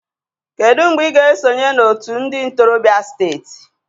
Kedu mgbe ị ga-esonye na otu ndị ntorobịa steeti.